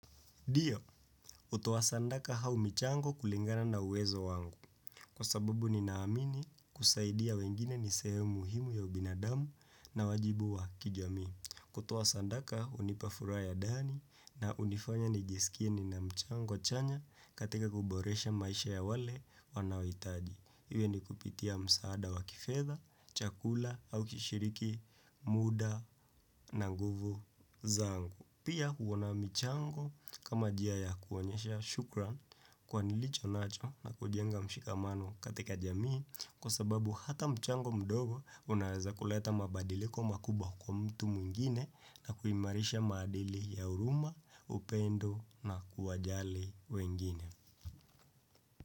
Ndio, hutuo sadaka au michango kulingana na uwezo wangu kwa sababu ninaamini kusaidia wengine nisehemu muhimu ya ubinadamu na wajibu wa kijami. Kutoa sadaka hunipa furaha ya ndani na hunifanya nijisikie ninamchango chanya katika kuboresha maisha ya wale wanawitaji. Iwe ni kupitia msaada wa kifedha, chakula au kishiriki muda na nguvu zangu. Pia kuona mchango kama njia ya kuonyesha shukran kwa nilicho nacho na kujenga mshikamano katika jamii kwa sababu hata mchango mdogo unaweza kuleta mabadiliko makubwa kwa mtu mwingine na kuimarisha madili ya huruma, upendo na kuwajali wengine.